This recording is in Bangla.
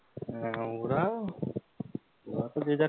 আহ ওরা তো যে যার